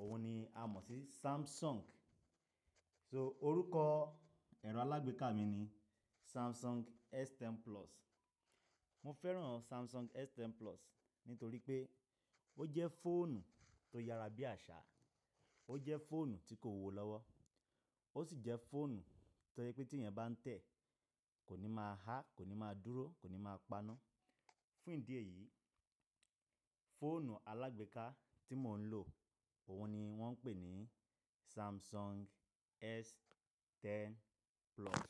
òun ni a mọ̀ sí Samsung. So orúkọ ẹ̀rọ alágbèéká mi ni Samsung S10 Plus. Mo fẹ́ràn Samsung S10 Plus nítorí pé ó jẹ́ fóònù tó yára bí àṣà, ó jẹ́ fóònù tí kò wò lọ́wọ́, ó sì jẹ́ fóònù tó jẹ pé tí ẹyan bá ń tẹ̀ kó ni máa há, kò ní máa dúró, kò ní máa pana. Fún ìdí èyí, fóònù alágbèéká tí mò ń lò, òun ni wọ́n ń pè ní Samsung S10 Plus.